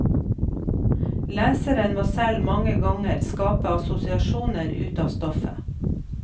Leseren må selv mange ganger skape assosiasjoner ut av stofftet.